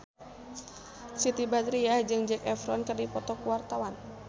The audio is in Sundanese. Siti Badriah jeung Zac Efron keur dipoto ku wartawan